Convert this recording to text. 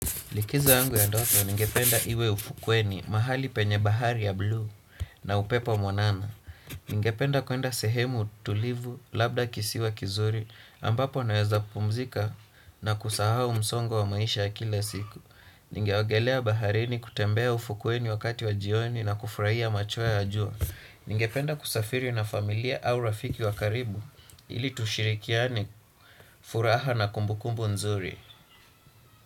Likizo yangu ya ndoto ningependa iwe ufukweni mahali penye bahari ya blue na upepo mwanana. Ningependa kuenda sehemu tulivu labda kisiwa kizuri ambapo naweza pumzika na kusahau msongo wa maisha ya kila siku. Ningeogelea baharini kutembea ufukweni wakati wa jioni na kufurahia macho ya jua. Ningependa kusafiri na familia au rafiki wa karibu ili tushirikiane furaha na kumbukumbu nzuri.